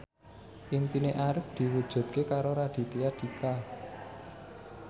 impine Arif diwujudke karo Raditya Dika